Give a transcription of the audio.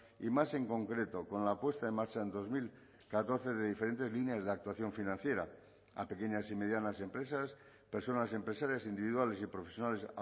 y más en concreto con la puesta en marcha en dos mil catorce de diferentes líneas de actuación financiera a pequeñas y medianas empresas personas empresarias individuales y profesionales